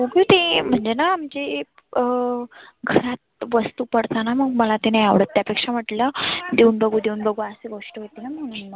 तुझी म्हणजेना आमची अं खरात वस्तु पडताना मग मला ते नाही आवडत त्या पेक्षा म्हटलं देऊन बघु देऊन बघु गोष्ट होतीना.